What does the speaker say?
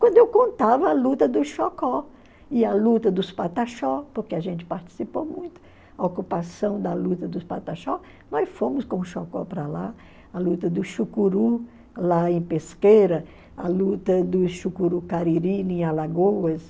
Quando eu contava a luta do Xocó e a luta dos Pataxó, porque a gente participou muito, a ocupação da luta dos Pataxó, nós fomos com o Xocó para lá, a luta do Xucuru lá em Pesqueira, a luta do Xucuru Kariri Alagoas,